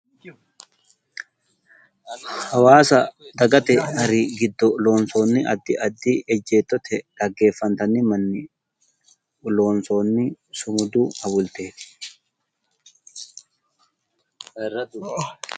Hawaasa dagate hari giddo loonssoonni addi addi ejjeettote dhaggeffantanni manni loonssoonni sumudu hawulteeti.